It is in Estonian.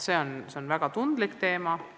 See on väga tundlik teema.